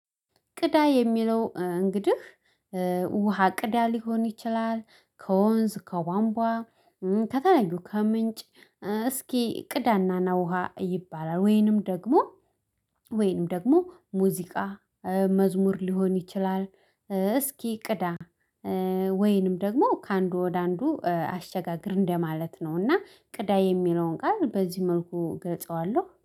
ቅዳ የሚለው እንግዲህ ውሃ ቅዳ ሊሆን ይችላል። ከወንዝ ከቧንቧ ከተለያዩ ከምንጭ እስኪ ቅዳናና ውሃ ይባላል። ወይንም ደግሞ። ወይንም ደግሞ ሙዚቃ መዝሙር ሊሆን ይችላል። እስኪ ቅዳ ወይንም ደግሞ ከአንዱ ወደ አንዱ አሸጋገር እንደማለት ነው። እና ቅዳ የሚለውን ቃል በዚህ መልኩ ገልጸዋለሁ